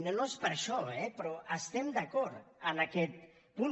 no és per això eh però estem d’acord en aquest punt